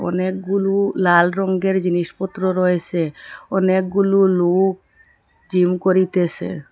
অনেকগুলু লাল রঙ্গের জিনিসপত্র রয়েসে অনেকগুলু লুক জিম করিতেসে।